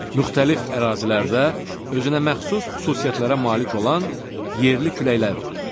Müxtəlif ərazilərdə özünə məxsus xüsusiyyətlərə malik olan yerli küləklər var.